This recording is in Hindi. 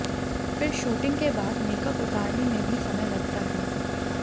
फिर शूटिंग के बाद मेकअप उतारने में भी समय लगता है